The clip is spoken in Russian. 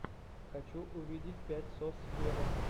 хочу увидеть пять сос вево